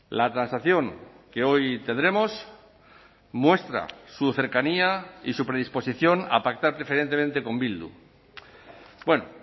la transacción que hoy tendremos muestra su cercanía y su predisposición a pactar preferentemente con bildu bueno